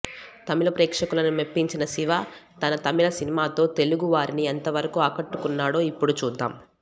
తమిళ ప్రేక్షకులని మెప్పించిన శివ తన తమిళ సినిమాతో తెలుగు వారిని ఎంత వరకూ ఆకట్టుకున్నాడో ఇప్పుడు చూద్దాం